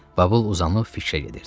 Babıl uzanıb fikrə gedirdi.